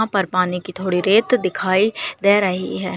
यहाँ पर पानी की थोड़ी रेत दिखाई दे रही है।